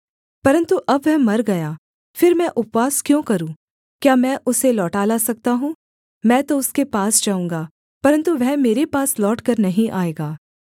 परन्तु अब वह मर गया फिर मैं उपवास क्यों करूँ क्या मैं उसे लौटा ला सकता हूँ मैं तो उसके पास जाऊँगा परन्तु वह मेरे पास लौटकर नहीं आएगा